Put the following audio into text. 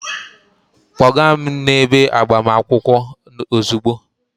Kpọga m n'ebe agbamakwụkwọ ozugbo!